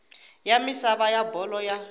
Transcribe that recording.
ya misava ya bolo ya